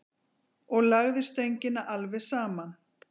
Og lagði stöngina alveg saman.